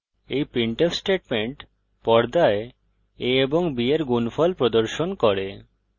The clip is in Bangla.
এই printf স্টেটমেন্ট পর্দায় a ও b এর গুনফল প্রদর্শন করে